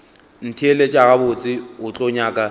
ntheelet gabotse o tlo nyaka